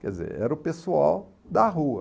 Quer dizer, era o pessoal da rua.